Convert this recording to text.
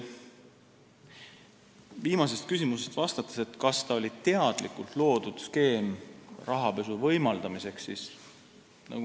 Alustan vastamist viimasele küsimusele, kas oli teadlikult loodud skeem rahapesu võimaldamiseks.